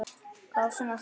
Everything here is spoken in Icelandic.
Hvað á svona að þýða